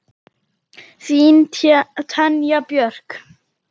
Þín, Tanja Björk.